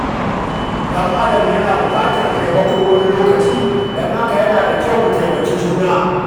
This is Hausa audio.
ɗan adam yana buƙatar taimako wani lokaci, don haka yana da kyau mu taimaki juna.